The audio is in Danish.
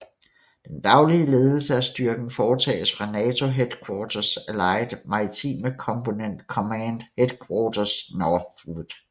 Den daglige ledelse af styrken foretages fra NATO Headquarters Allied Maritime Component Command Headquarters Northwood